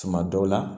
Tuma dɔw la